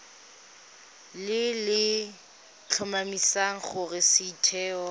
le le tlhomamisang gore setheo